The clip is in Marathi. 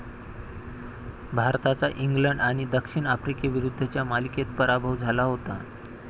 भारताचा इंग्लंड आणि दक्षिण आफ्रिकीविरुद्धच्या मालिकेत पराभव झाला होता.